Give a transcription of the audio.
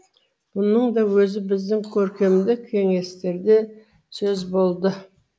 бұның да өзі біздің көркемдік кеңестерде де сөз болды